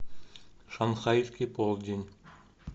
шанхайский полдень